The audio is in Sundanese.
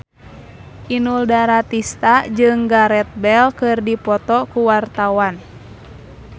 Inul Daratista jeung Gareth Bale keur dipoto ku wartawan